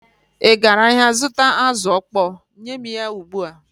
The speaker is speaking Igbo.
Ị gara ahịa zụta azụ̀ ọkpọọ? Nye m ya ugbu a!